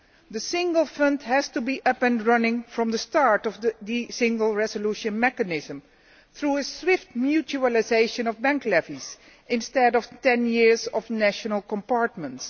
The Single Fund has to be up and running from the start of the Single Resolution Mechanism through a swift mutualisation of bank levies, instead of 10 years of national compartments.